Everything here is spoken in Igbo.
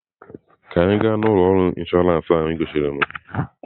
Ka anyị gaa na ụlọ ọrụ inshọransị ahụ ị gosiri m!